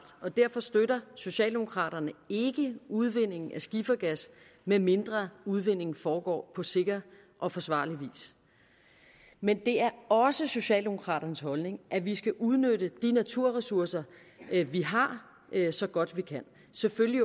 og derfor støtter socialdemokraterne ikke udvinding af skifergas medmindre udvindingen foregår på sikker og forsvarlig vis men det er også socialdemokraternes holdning at vi skal udnytte de naturressourcer vi har har så godt vi kan selvfølgelig